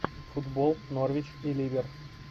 футбол норвич и ливер